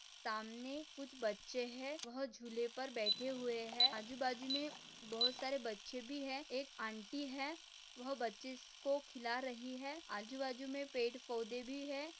सामने कुछ बच्चे है वह झूले पर बैठे हुए है आजूबाजू मे बहुत सारे बच्चे भी है एक आंटी है वह बच्चीस को खिला रही है आजूबाजू मे पेड़ पौधे भी है।